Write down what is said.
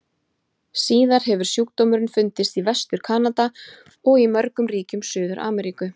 Síðar hefur sjúkdómurinn fundist í Vestur-Kanada og í mörgum ríkjum Suður-Ameríku.